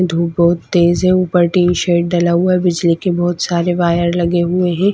धूप बहुत तेज है ऊपर टीन शेड डाला हुआ है बिजली के बहुत सारे वायर लगे हुए हैं।